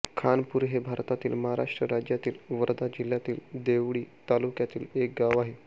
खानापूर हे भारतातील महाराष्ट्र राज्यातील वर्धा जिल्ह्यातील देवळी तालुक्यातील एक गाव आहे